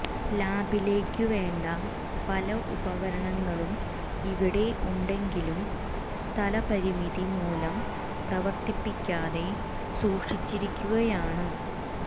ലാബിലേക്കുവേണ്ട പല ഉപകരണങ്ങളും ഇവിടെ ഉണ്ടെങ്കിലും സ്ഥലപരിമിതി മൂലം പ്രവര്ത്തിപ്പിക്കാതെ സൂക്ഷിച്ചിരിക്കുകയാണ്